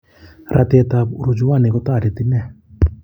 Ratet ab hurujuani kotareti nee